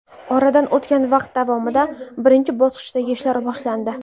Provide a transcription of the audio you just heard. Oradan o‘tgan vaqt davomida birinchi bosqichdagi ishlar boshlandi.